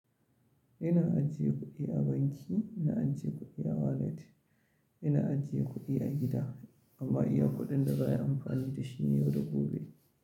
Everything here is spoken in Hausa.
Ina ajiye kuɗi a banki, ina ajiye kuɗi a wallet, ina ajiye kuɗi a gida amma iya kuɗin da za ai amfani da shi ne yau da gobe.